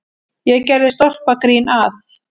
Ég gerði stólpagrín að